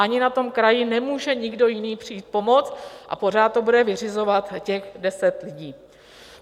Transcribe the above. Ani na tom kraji nemůže nikdo jiný přijít pomoct a pořád to bude vyřizovat těch deset lidí.